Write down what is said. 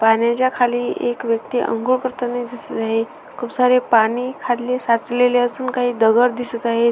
पाण्याच्या खाली एक व्यक्ति आंघोळ करताना दिसत आहे खूप सारे पाणी खाली साचलेले असून खाली काही दगड दिसत आहेत.